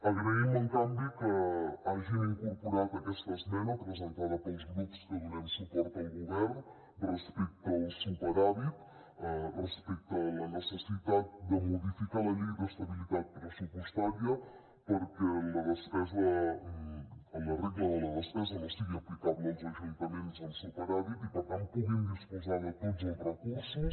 agraïm en canvi que hagin incorporat aquesta esmena presentada pels grups que donem suport al govern respecte al superàvit respecte a la necessitat de modificar la llei d’estabilitat pressupostària perquè la regla de la despesa no sigui aplicable als ajuntaments amb superàvit i per tant puguin disposar de tots els recursos